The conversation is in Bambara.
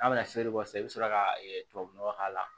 N'a bɛna feere bɔ sisan i bɛ sɔrɔ ka tubabunɔgɔ k'a la